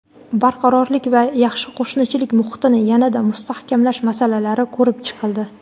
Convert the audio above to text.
barqarorlik va yaxshi qo‘shnichilik muhitini yanada mustahkamlash masalalari ko‘rib chiqildi.